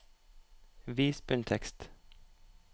Vis bunntekst